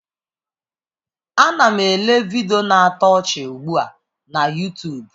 Ana m ele vidiyo na-atọ ọchị ugbu a na Yutubu.